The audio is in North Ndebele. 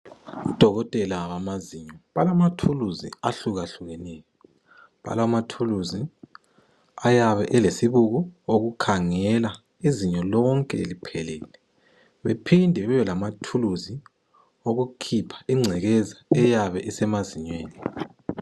Odokotela bamazinyo balama thuluzi ahlukahlukeneyo. Balamathuluzi ayabe elesibuko okukhangela izinyo lonke liphelele. Bephinde bebelamathuluzi okukhipha ingcekeza eyabe isemazinyweni.